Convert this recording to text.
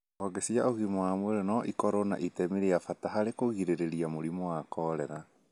honge cia ũgima wa mwĩrĩ no ikorũo na itemi rĩa bata harĩ kũgirĩrĩria mũrimũ wa korera